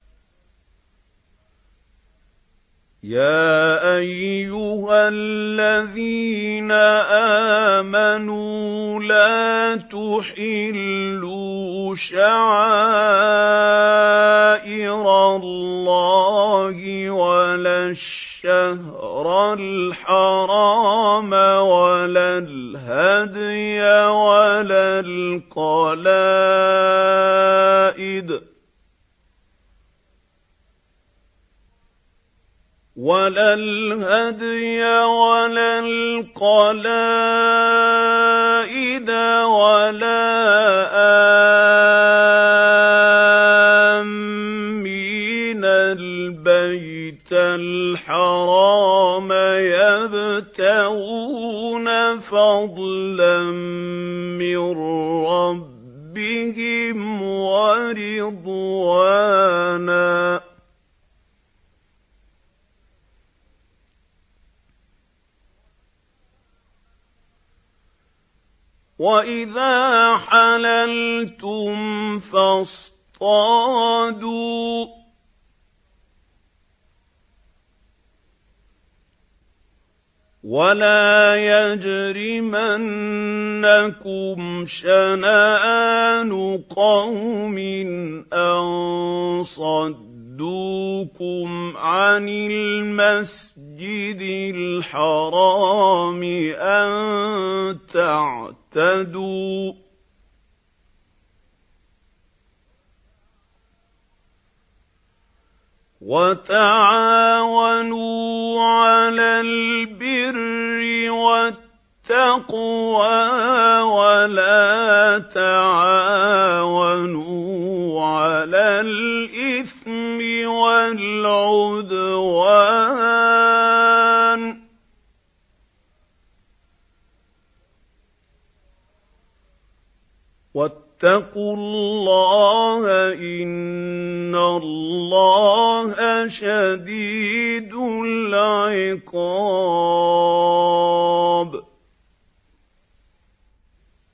يَا أَيُّهَا الَّذِينَ آمَنُوا لَا تُحِلُّوا شَعَائِرَ اللَّهِ وَلَا الشَّهْرَ الْحَرَامَ وَلَا الْهَدْيَ وَلَا الْقَلَائِدَ وَلَا آمِّينَ الْبَيْتَ الْحَرَامَ يَبْتَغُونَ فَضْلًا مِّن رَّبِّهِمْ وَرِضْوَانًا ۚ وَإِذَا حَلَلْتُمْ فَاصْطَادُوا ۚ وَلَا يَجْرِمَنَّكُمْ شَنَآنُ قَوْمٍ أَن صَدُّوكُمْ عَنِ الْمَسْجِدِ الْحَرَامِ أَن تَعْتَدُوا ۘ وَتَعَاوَنُوا عَلَى الْبِرِّ وَالتَّقْوَىٰ ۖ وَلَا تَعَاوَنُوا عَلَى الْإِثْمِ وَالْعُدْوَانِ ۚ وَاتَّقُوا اللَّهَ ۖ إِنَّ اللَّهَ شَدِيدُ الْعِقَابِ